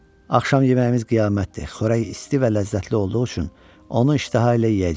Axşam yeməyimiz qiyamətdir, xörək isti və ləzzətli olduğu üçün onu iştəha ilə yeyəcəyik.